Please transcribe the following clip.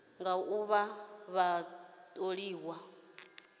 nga u vha vha tholiwa